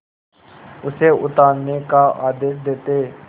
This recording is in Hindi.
उसे उतारने का आदेश देते